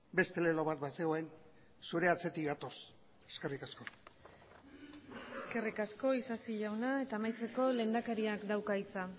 beste lelo bat bazegoen zure atzetik gatoz eskerrik asko eskerrik asko isasi jauna eta amaitzeko lehendakariak dauka hitza